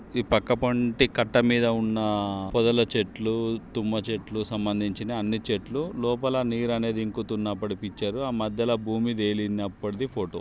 ఈ పక్క పొంటి కట్ట మీద ఉన్న పొదల చెట్లు తుమ్మ చెట్లు సంబంధించిన అన్ని చెట్లు లోపల నీరు అనేది ఇంకుతున్నప్పటిది ఈ పిక్చర్ . ఆ మధ్యలో భూమి తేలినప్పటిది ఫోటో .